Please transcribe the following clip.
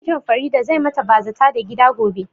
Mijin Farida zai ma ta bazata da gida gobe